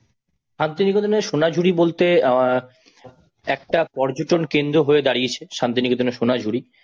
একটা পর্যটন কেন্দ্র হয়ে দাঁড়িয়েছে শান্তিনিকেতনের সোনাঝুরি।